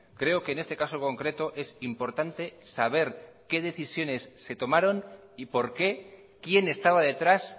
creo que en este caso concreto es importante saber qué decisiones se tomaron y por qué quién estaba detrás